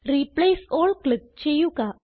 replace all click ചെയ്യുക